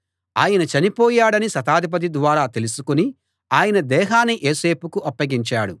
ఆయన చనిపోయాడని శతాధిపతి ద్వారా తెలుసుకుని ఆయన దేహాన్ని యోసేపుకు అప్పగించాడు